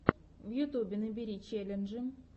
на ютюбе набери челленджи